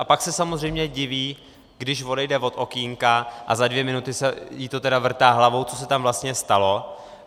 A pak se samozřejmě diví, když odejde od okénka, a za dvě minuty jí to tedy vrtá hlavou, co se tam vlastně stalo.